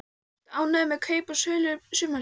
Ertu ánægður með kaup og sölur sumarsins?